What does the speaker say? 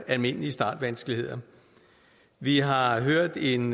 almindelige startvanskeligheder vi har hørt en